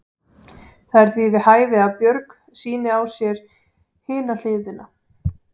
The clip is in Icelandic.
Það er því við hæfi að Björg sýni á sér hina hliðina.